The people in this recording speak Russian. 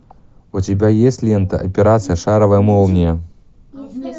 у тебя есть лента операция шаровая молния